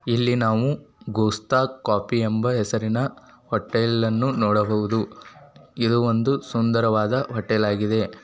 ಇಲ್ಲಿ ನಾವು ಗೋಸ್ತ ಕಾಫಿ ಎಂಬ ಹೆಸರಿನ ಹೊಟೇಲ್ ಅನ್ನು ನೋಡಬಹುದು ಇದು ಒಂದು ಸುಂದರವಾದ ಹೊಟೇಲ್ ಆಗಿದೆ.